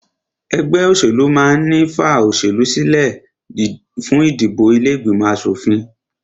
Ẹgbẹ́ òṣèlú máà ń ní fa olóṣèlú sílẹ fún ìdìbò ilé ìgbìmọ̀ aṣòfin